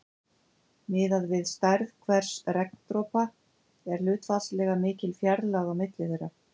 Miðað við stærð hvers regndropa er hlutfallslega mikil fjarlægð á milli þeirra.